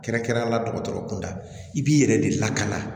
Kɛrɛnkɛrɛnnenya la dɔgɔtɔrɔ kunda i b'i yɛrɛ de lakana